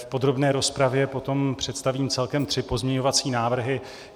V podrobné rozpravě potom představím celkem tři pozměňovací návrhy.